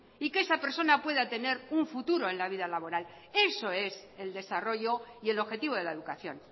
y que esa persona pueda tener un futuro en la vida laboral eso es el desarrollo y el objetivo de la educación